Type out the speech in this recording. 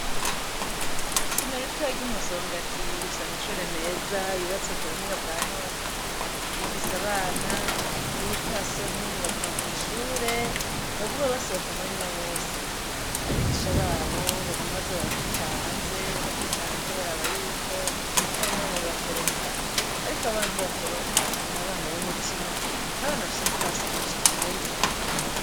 Isomero ritoya ry'i Musongati rifise amashuri meza yubatswe ku buhinga bwa none, rifise abana b'urupfasoni baguma mw' ishure ntibaguma basohoka umwanya wose, abigisha babo baguma baza barakubita hanze bakubita hanze baraba yuko hari umwana yotoroka, ariko aba bana ntibatoroka n'abana b'umutima n'abana bafise urupfasoni cane bogufatirako akarorero.